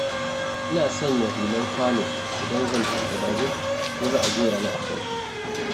Ina sanya hular kwano idan zan tuƙa babur, ko za a goya ni a kansa.